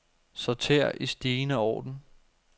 Sorter i stigende orden.